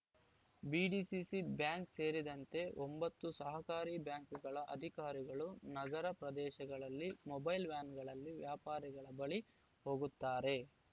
BDCC bank ಸೇರಿದಂತೆ ಒಂಬತ್ತು ಸಹಕಾರಿ ಬ್ಯಾಂಕ್‌ಗಳ ಅಧಿಕಾರಿಗಳು ನಗರ ಪ್ರದೇಶಗಳಲ್ಲಿ ಮೊಬೈಲ್‌ ವ್ಯಾನ್‌ಗಳಲ್ಲಿ ವ್ಯಾಪಾರಿಗಳ ಬಳಿ ಹೋಗುತ್ತಾರೆ